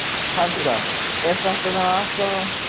Helga: Er þetta þá aðallega svona félagsleg breyting?